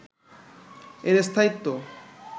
এর স্থায়িত্ব